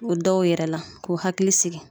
O dɔw yɛrɛ la k'u hakili sigi